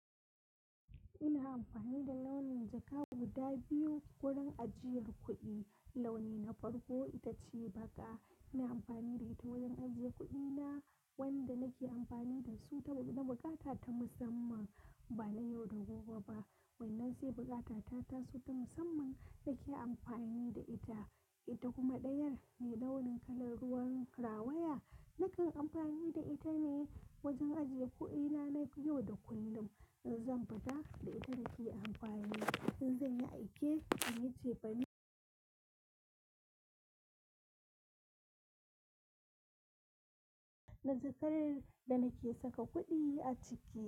Ina amfani da launin jaka guda biyu wurin ajiyar kuɗi. Launi na farko ita ce baƙa, ina amfani da ita wajen ajiye kuɗina wanda nake amfani da su ta buƙata ta musamman ba na yau da gobe ba. Wannan sai buƙata ta taso ta musamman nake amfani da ita. Ita kuma ɗayar mai launin kalar ruwan rawaya, nakan amfani da ita ne wajen ajiye kuɗina na yau da kullum. In zan fita da ita nake amfani, in zai yi aiki in yi ce fane najakar da nake saka kuɗi a ciki.